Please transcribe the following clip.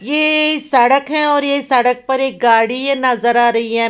ये सडक हैं और ये सड़क पर एक गाड़ी हैं ये नजर आ रही हैं।